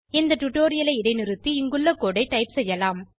இந்த டுடோரியலை இடைநிறுத்தி இந்த கோடு ஐ டைப் செய்யலாம்